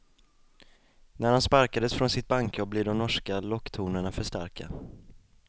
När han sparkades från sitt bankjobb blev de norska locktonerna för starka.